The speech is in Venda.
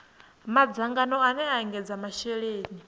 madzangano ane a ekedza masheleni